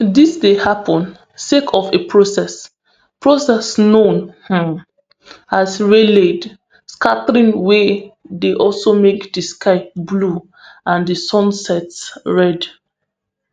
dis dey happen sake of a process process known um as rayleigh scattering wey dey also make di sky blue and di sunsets red